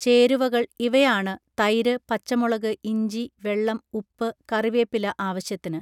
ചേരുവകൾ ഇവയാണ് തൈര് പച്ചമുളക് ഇഞ്ചി വെള്ളം ഉപ്പ് കറിവേപ്പില ആവശ്യത്തിന്